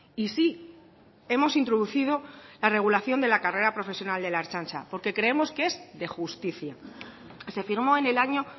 y sí hemos introducido la regulación de la carrera profesional de la ertzaintza porque creemos que es de justicia se firmó en el año